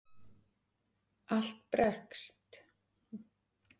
Allt breskt hljómar dálítið hátíðlega.